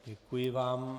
Děkuji vám.